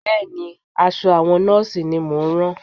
Bẹ́ẹ̀ ni, aṣọ àwọn Nọ́ọ̀sì ni mọ̀ ń rán